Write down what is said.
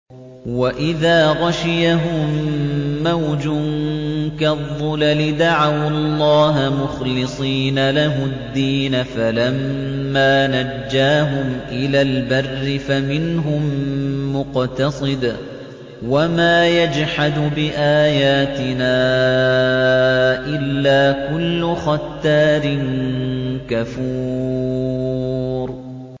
وَإِذَا غَشِيَهُم مَّوْجٌ كَالظُّلَلِ دَعَوُا اللَّهَ مُخْلِصِينَ لَهُ الدِّينَ فَلَمَّا نَجَّاهُمْ إِلَى الْبَرِّ فَمِنْهُم مُّقْتَصِدٌ ۚ وَمَا يَجْحَدُ بِآيَاتِنَا إِلَّا كُلُّ خَتَّارٍ كَفُورٍ